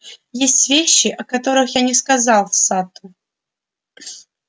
есть вещи о которых я не сказал сатту